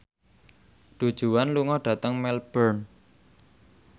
Du Juan lunga dhateng Melbourne